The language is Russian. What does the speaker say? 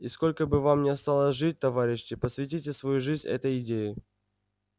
и сколько бы вам ни осталось жить товарищи посвятите свою жизнь этой идее